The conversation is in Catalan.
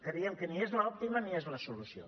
creiem que ni és l’òptima ni és la solució